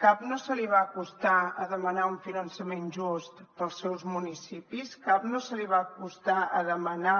cap no se li va acostar a demanar un finançament just per als seus municipis cap no se li va acostar a demanar